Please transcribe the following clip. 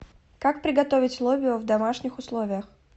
как приготовить лобио в домашних условиях